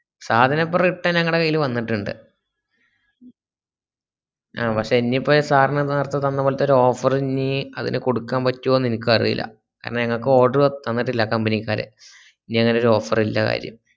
സാധനിപ്പൊ return ഞങ്ങളെ കയ്യിൽ വന്നിട്ടുണ്ട് ആ പക്ഷേ ഇനിപ്പോ sir ന് ന്നാർത്തേ തന്നപ്പോല്ലെത്തെ ഒരു offer ഇനീ അതില് കൊടുക്കാബാറ്റോന്ന് ഇൻക് അറീല്ല കാരണം ഞങ്ങക്ക് order തന്നിട്ടില്ല company ക്കാര് ഇനി അങ്ങനൊരു offer ൽല്ല കാര്യം.